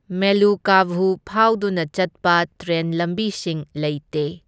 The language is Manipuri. ꯃꯦꯂꯨꯀꯥꯚꯨ ꯐꯥꯎꯗꯨꯅ ꯆꯠꯄ ꯇ꯭ꯔꯦꯟ ꯂꯝꯕꯤꯁꯤꯡ ꯂꯩꯇꯦ꯫